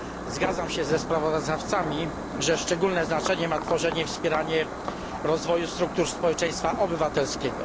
Zgadzam się ze sprawozdawcami, że szczególne znaczenie ma tworzenie i wspieranie rozwoju struktur społeczeństwa obywatelskiego.